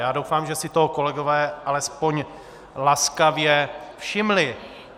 Já doufám, že si toho kolegové alespoň laskavě všimli.